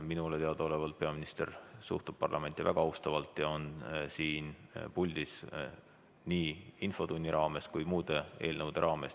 Minule teadaolevalt peaminister suhtub parlamenti väga austavalt ja on siin puldis nii infotunni raames kui ka muude eelnõude raames.